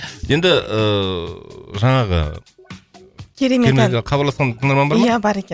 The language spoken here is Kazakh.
енді ыыы жаңағы керемет ән хабарласқан тыңдарман бар ма ия бар екен